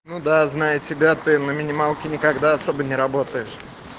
ну да знаю тебя ты на минималке никогда особо не работаешь